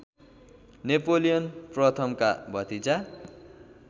Napoleon प्रथमका भतिजा